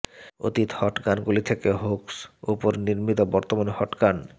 অতীত হট গানগুলি থেকে হুক্স উপর নির্মিত বর্তমান হট গান